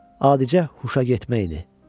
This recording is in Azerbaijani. Adicə huşa getmə idi.